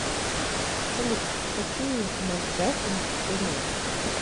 салют какие макгафин ты знаешь